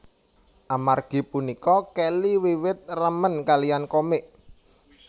Amargi punika Kelly wiwit remen kaliyan komik